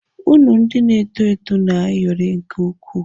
Unu ndị na-eto eto na-ayọrị nke ukwuu.